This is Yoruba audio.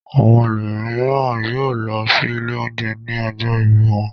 Àwọn ẹlòmíràn yóò lọ sí ilé-oúnjẹ ní ọjọ́ ìbí wọn.